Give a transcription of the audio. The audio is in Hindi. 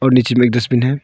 और नीचे में एक डस्टबिन है।